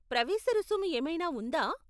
ప్రవేశ రుసుము ఏమైనా ఉందా?